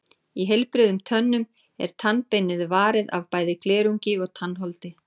Í heilbrigðum tönnum er tannbeinið varið af bæði glerungi og tannholdi.